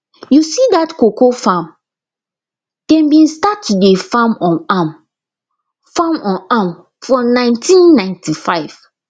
you see dat cocoa farm dem bin start to dey farm on am farm on am for nineteen ninety five